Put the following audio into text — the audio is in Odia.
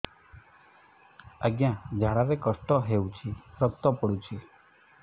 ଅଜ୍ଞା ଝାଡା ରେ କଷ୍ଟ ହଉଚି ରକ୍ତ ପଡୁଛି